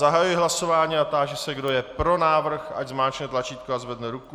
Zahajuji hlasování a ptám se, kdo je pro návrh, ať zmáčkne tlačítko a zvedne ruku.